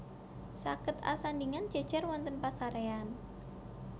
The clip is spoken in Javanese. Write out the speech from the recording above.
Saged asandhingan jèjèr wonten pasaréyan